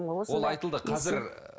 ол айтылды қазір ііі